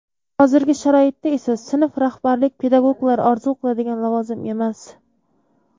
Hozirgi sharoitda esa sinf rahbarlik pedagoglar orzu qiladigan lavozim emas.